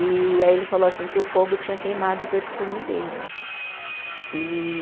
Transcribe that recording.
E aí ele falou assim que o fogo tinha queimado o perfume dele. E